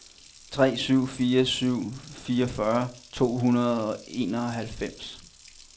tre syv fire syv fireogfyrre to hundrede og enoghalvfems